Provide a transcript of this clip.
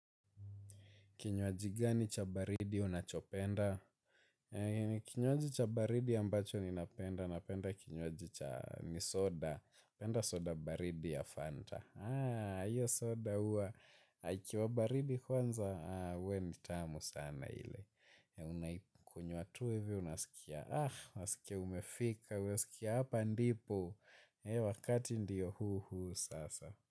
Kinywaji gani cha baridi unachopenda? Kinywaji cha baridi ambacho ninapenda, napenda kinywaji cha misoda. Napenda soda baridi ya Fanta. Haa, hiyo soda hua. Ikiwa baridi kwanza, huwa nitamu sana ile. Kunywa tu hivyo, unasikia. Ah, unasikia umefika. Unasikia hapa ndipo. Wakati ndio huu huu sasa.